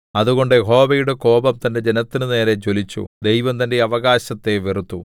അതുകൊണ്ട് യഹോവയുടെ കോപം തന്റെ ജനത്തിന്റെ നേരെ ജ്വലിച്ചു ദൈവം തന്റെ അവകാശത്തെ വെറുത്തു